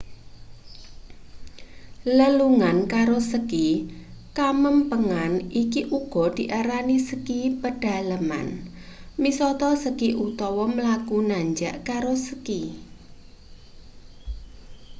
lelungan karo ski kamempengan iki uga diarani ski pedalaman misata ski utawa mlaku nanjak karo ski